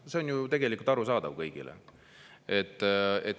See on ju tegelikult arusaadav kõigile.